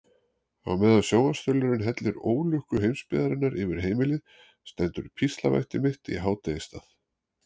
Á meðan sjónvarpsþulurinn hellir ólukku heimsbyggðarinnar yfir heimilið stendur píslarvætti mitt í hádegisstað.